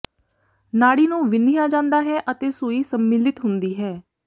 ਨਾੜੀ ਨੂੰ ਵਿੰਨ੍ਹਿਆ ਜਾਂਦਾ ਹੈ ਅਤੇ ਸੂਈ ਸੰਮਿਲਿਤ ਹੁੰਦੀ ਹੈ